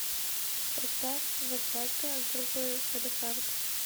поставь васятка группы салехард